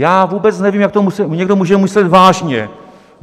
Já vůbec nevím, jak to někdo může myslet vážně.